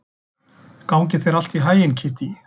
Gangi þér allt í haginn, Kittý.